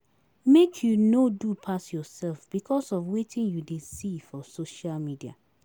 Make you no do pass yoursef because of wetin you dey see for social media.